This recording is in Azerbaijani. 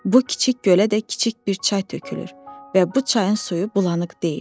Bu kiçik gölə də kiçik bir çay tökülür və bu çayın suyu bulanıq deyil.